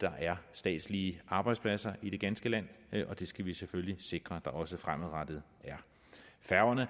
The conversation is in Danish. der er statslige arbejdspladser i det ganske land og det skal vi selvfølgelig sikre at der også er fremadrettet færgerne